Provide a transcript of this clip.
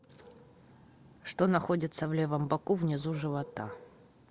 что находится в левом боку внизу живота